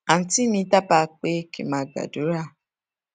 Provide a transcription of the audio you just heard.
àǹtí mi dábàá pé kí n máa gbàdúrà